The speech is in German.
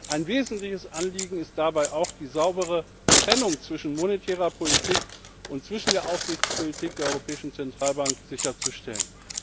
Ein wesentliches Anliegen ist dabei auch, die saubere Trennung zwischen monetärer Politik und der Aufsichtspolitik der Europäischen Zentralbank sicherzustellen.